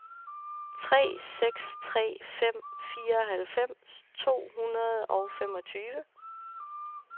tre seks tre fem fireoghalvfems to hundrede og femogtyve